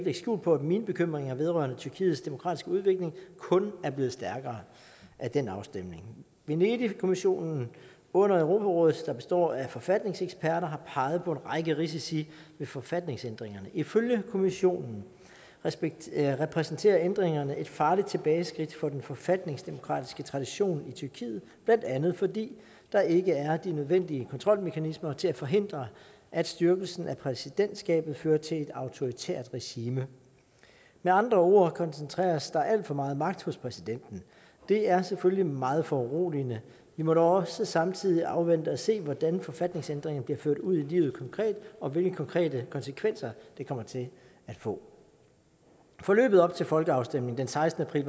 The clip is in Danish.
skjul på at mine bekymringer vedrørende tyrkiets demokratiske udvikling kun er blevet stærkere af den afstemning venedigkommissionen under europarådet der består af forfatningseksperter har peget på en række risici ved forfatningsændringerne ifølge kommissionen repræsenterer ændringerne et farligt tilbageskridt for den forfatningsdemokratiske tradition i tyrkiet blandt andet fordi der ikke er de nødvendige kontrolmekanismer til at forhindre at styrkelsen af præsidentskabet fører til et autoritært regime med andre ord koncentreres der alt for meget magt hos præsidenten og det er selvfølgelig meget foruroligende vi må dog også samtidig afvente og se hvordan forfatningsændringerne bliver ført ud i livet konkret og hvilke konkrete konsekvenser det kommer til at få forløbet op til folkeafstemningen den sekstende april